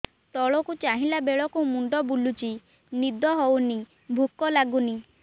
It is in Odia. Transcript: ତଳକୁ ଚାହିଁଲା ବେଳକୁ ମୁଣ୍ଡ ବୁଲୁଚି ନିଦ ହଉନି ଭୁକ ଲାଗୁନି